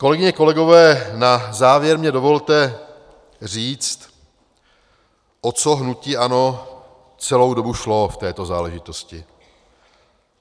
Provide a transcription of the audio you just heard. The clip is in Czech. Kolegyně, kolegové, na závěr mi dovolte říct, o co hnutí ANO celou dobu šlo v této záležitosti.